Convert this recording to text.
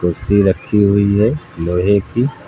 सी रखी हुई है लोहे की।